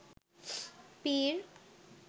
পীর